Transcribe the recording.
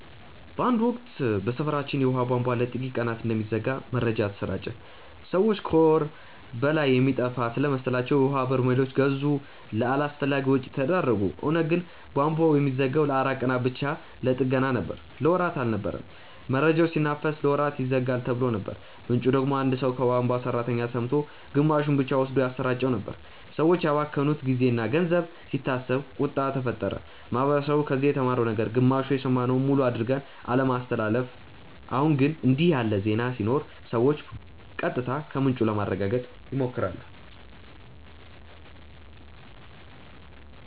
በአንድ ወቅት በሰፈራችን የውሃ ቧንቧ ለጥቂት ቀናት እንደሚዘጋ መረጃ ተሰራጨ። ሰዎች ከወር በላይ የሚጠፋ ስለመሰላቸው የውሀ በርሜሎች ገዙ፣ ለአላስፈላጊ ወጪ ተዳረጉ። እውነቱ ግን ቧንቧው የሚዘጋው ለአራት ቀናት ብቻ ለጥገና ነበር። ለወራት አልነበረም። መረጃው ሲናፈስ "ለወራት ይዘጋል"ተብሎ ነበር፣ ምንጩ ደግሞ አንድ ሰው ከቧንቧ ሠራተኛ ሰምቶ ግማሹን ብቻ ወስዶ ያሰራጨው ነበር። ሰዎች ያባከኑት ጊዜና ገንዘብ ሲታሰብ ቁጣ ተፈጠረ። ማህበረሰቡ ከዚህ የተማረው ነገር ግማሽ የሰማነውን ሙሉ አድርገን አለማስተላለፍ። አሁን ግን እንዲህ ያለ ዜና ሲኖር ሰዎች ቀጥታ ከምንጩ ለማረጋገጥ ይሞክራሉ